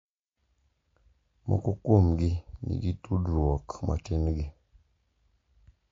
Moko kuomgi nigi tudruok matin gi,